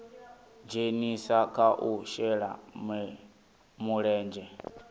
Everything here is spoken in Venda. dzhenisa kha u shela mulenzhe